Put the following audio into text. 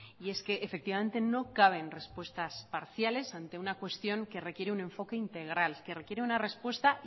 y es que efectivamente no caben respuestas parciales ante una cuestión que requiere un enfoque integral que requiere una respuesta